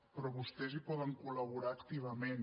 però vostès hi poden col·laborar activament